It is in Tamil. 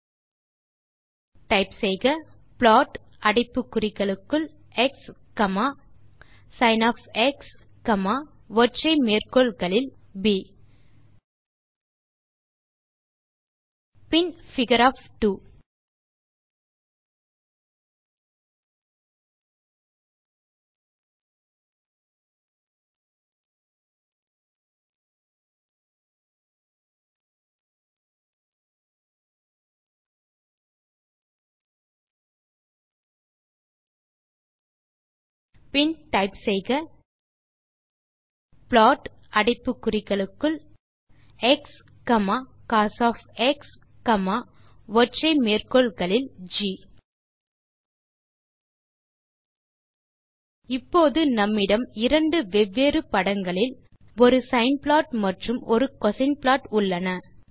பின் டைப் செய்க160 ப்ளாட் அடைப்பு குறிகளுக்குள் எக்ஸ் சின் காமா ப் பின் பிகர் பின் டைப் செய்க plot within brackets x comma cos comma ஒற்றை மேற்கோள் குறிகளுக்குள் ஜி இப்போது நம்மிடம் இரண்டு வெவ்வேறு படங்களில் ஒரு சைன் ப்ளாட் மற்றும் ஒரு கோசின் ப்ளாட் உள்ளன